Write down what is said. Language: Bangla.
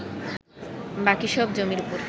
বাকি সব জমির ওপর